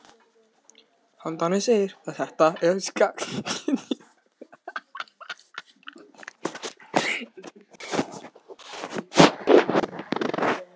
Tali um hvað örlög þeirra séu margslungin.